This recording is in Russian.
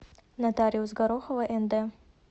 нотариус горохова нд